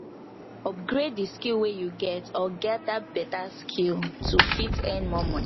upgrade di skill wey you get or gather better skill to fit earn more money